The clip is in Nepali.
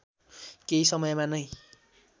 केही समयमा नै